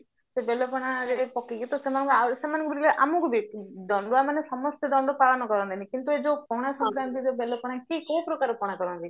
ସେ ବେଲ ପଣାରେ ପକେଇକି ତ ସେମାନଙ୍କୁ ଆଉରି ସେମାନଙ୍କୁ ଆମକୁ ଦଣ୍ଡୁଆ ମାନେ ସମସ୍ତେ ଦଣ୍ଡ ପାଳନ କରନ୍ତିନି କିନ୍ତୁ ଏଇ ଯୋଉ ପଣା ଶଙ୍କରାନ୍ତିରେ ବେଲ ପଣା କିଏ କୋଉ ପ୍ରକାରର ପଣା କରନ୍ତି